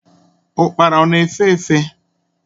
Ukpara ọ na-efe efe?